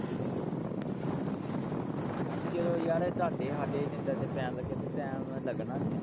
ਜਦੋਂ ਯਾਰ ਤਾਡੇ ਹਾਡੇ ਜਿੰਦਰ ਦੇ ਪੈਣ ਲੱਗੇ time ਲੱਗਣਾ ਨਹੀਂ ਆ।